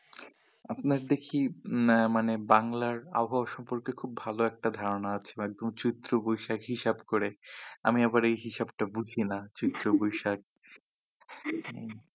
আপনার দেখি না মানে বাংলার আবহাওয়া সম্পর্কে খুব ভালো একটা ধারণা আছে ফাল্গুন চৈত্র বৈশাখ হিসাব করে আমি আবার এ হিসাবটা বুঝি না চৈত্র বৈশাখ হম